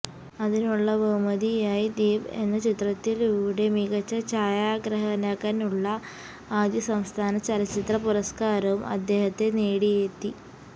അതിനുള്ള ബഹുമതിയായി ദ്വീപ് എന്ന ചിത്രത്തിലൂടെ മികച്ച ഛായാഗ്രാഹനകനുള്ള ആദ്യ സംസ്ഥാന ചലച്ചിത്രപുരസ്കാരവും അദ്ദേഹത്തെ നേടിയെത്തി